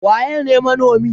Waƴe ne manomi?